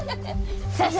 þessa